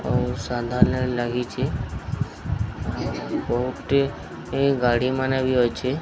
ଔଷଧଳୟା ଲାଗିଛି ବହୁତ ଟି ଗାଡ଼ି ମାନେ ବି ଅଛି।